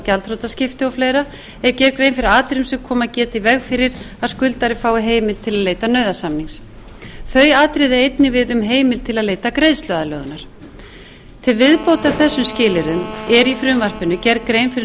gjaldþrotaskipti og fleira er gerð grein fyrir atriðum sem komið geta í veg fyrir að skuldari fái heimild til að leita nauðasamnings þau atriði eiga einnig við um heimild til að leita greiðsluaðlögunar til viðbótar þessum skilyrðum er í frumvarpinu gerð grein fyrir